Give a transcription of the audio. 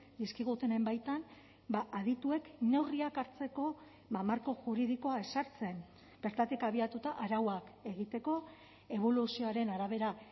dizkigutenen baitan adituek neurriak hartzeko marko juridikoa ezartzen bertatik abiatuta arauak egiteko eboluzioaren arabera